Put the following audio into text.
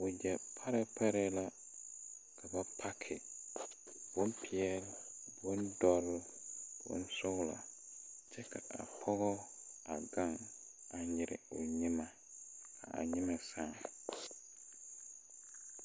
Wagyɛ parɛɛ parɛɛ la ka ba pake bonpeɛɛle, bondɔre, bonsɔglɔ kyɛ ka a pɔgɔ a gaŋ nyire o nyimɛ kaa a nyimɛ sãã.